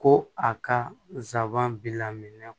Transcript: Ko a ka nsaban bila minɛ